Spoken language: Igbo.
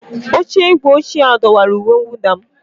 Oche igwe ochie ahụ dọwara uwe mwụda m.